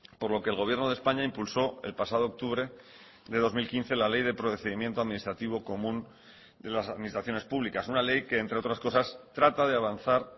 por lo que el gobierno de españa impulsó el pasado octubre de dos mil quince la ley de procedimiento administrativo común de las administraciones públicas una ley que entre otras cosas trata de avanzar